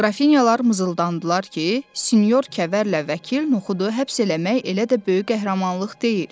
Qrafinyalar mızıldandılar ki, Sinor Kəvərlə Vəkil Noxudu həbs eləmək elə də böyük qəhrəmanlıq deyil.